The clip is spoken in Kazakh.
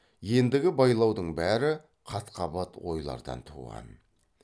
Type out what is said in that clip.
ендігі байлаудың бәрі қат қабат ойлардан туған